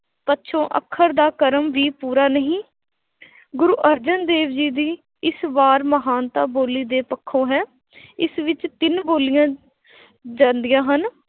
ਪੱਛੋਂ ਅੱਖਰ ਦਾ ਕਰਮ ਵੀ ਪੂਰਾ ਨਹੀਂ ਗੁਰੂ ਅਰਜਨ ਦੇਵ ਜੀ ਦੀ ਇਸ ਵਾਰ ਮਹਾਨਤਾ ਬੋਲੀ ਦੇ ਪੱਖੋਂ ਹੈ ਇਸ ਵਿੱਚ ਤਿੰਨ ਬੋਲੀਆਂ ਜਾਂਦੀਆਂ ਹਨ